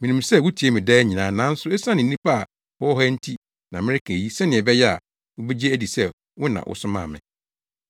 Minim sɛ wutie me daa nyinaa nanso esiane nnipa a wɔwɔ ha nti na mereka eyi sɛnea ɛbɛyɛ a wobegye adi sɛ wo na wosomaa me.”